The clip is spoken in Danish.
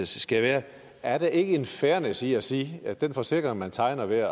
skal være er der ikke en fairness i at sige at den forsikring man tegner ved at